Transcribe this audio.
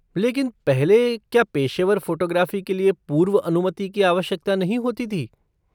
लेकिन पहले क्या पेशेवर फ़ोटोग्राफ़ी के लिए पूर्व अनुमति की आवश्यकता नहीं होती थी?